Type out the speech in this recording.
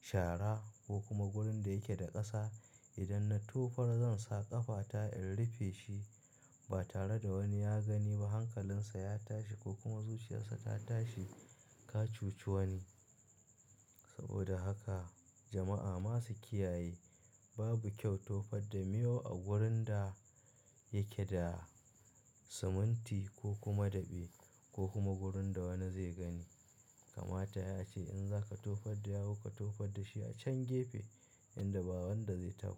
shara ko kuma wurin da yake da ƙasa. Idan na tofa zan sa ƙafata in rufe shi ba tare da wani ya gani ba hankalinsa ya tashi ko kuma zuciyarsa ta tashi ka cuci wani. Saboda haka jama'a masu kiyaye babu kyau tofa da mayu a wurin da yake da siminti ko kuma daɓe ko kuma wurin da wani zai gani. Kamata yai ace in zaka tofar da yawu ka tofar da shi a can gefe inda ba wanda zai taba.